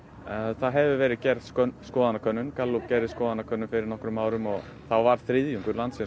það hefur verið gerð skoðanakönnun Gallup gerði skoðanakönnun fyrir nokkrum árum þá var þriðjungur landsins á